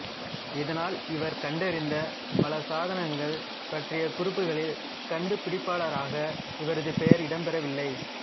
இதனால் இவர் கண்டறிந்த பல சாதனங்கள் பற்றிய குறிப்புகளில் கண்டுபிடிப்பாளராக இவரது பெயர் இடம்பெறவில்லை